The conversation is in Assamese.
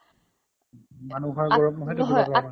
মানুহৰ ওপৰত নহয় আ